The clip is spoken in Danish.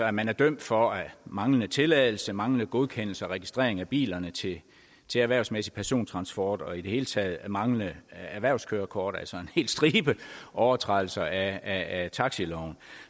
at man er dømt for manglende tilladelse manglende godkendelse og registrering af bilerne til erhvervsmæssig persontransport og i det hele taget manglende erhvervskørekort altså en hel stribe af overtrædelser af af taxiloven